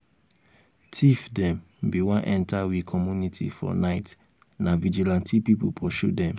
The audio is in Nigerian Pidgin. tif dem bin wan enta we community for night na vigilantee pipu pursue dem.